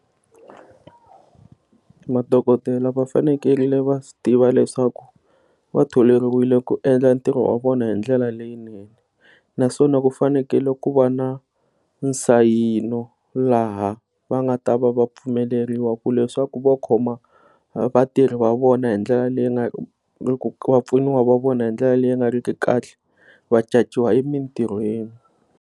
Madokodela va fanekele va swi tiva leswaku va tholeriwile ku endla ntirho wa vona hi ndlela leyinene, naswona ku fanekele ku va na nsayino laha va nga ta va va pfumeleriwa ku leswaku vo khoma vatirhi va vona hindlela leyi nga ri va pfuniwa va vona hindlela nga ri ki kahle vacaciwa emintirhweni.